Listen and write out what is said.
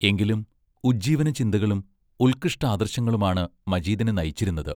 എങ്കിലും, ഉജ്ജീവനചിന്തകളും ഉത്കൃഷ്ടാദർശങ്ങളുമാണ് മജീദിനെ നയിച്ചിരുന്നത്.